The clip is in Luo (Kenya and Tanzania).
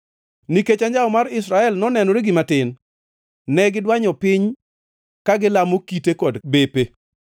Nikech anjawo mar Israel nonenore gima tin, ne gidwanyo piny ka gilamo kite kod bepe.